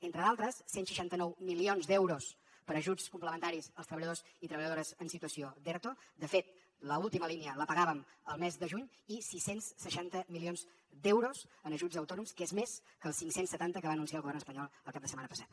entre d’altres cent i seixanta nou milions d’euros per a ajuts complementaris als treballadors i treballadores en situació d’erto de fet l’última línia la pagàvem al mes de juny i sis cents i seixanta milions d’euros en ajuts a autònoms que és més que els cinc cents i setanta que va anunciar el govern espanyol el cap de setmana passat